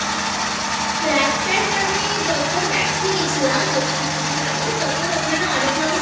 Trackpant আমি যখন Max এ গেছিলাম বেশ অনেকদিন আগে তখন ওখানে অনেক রকম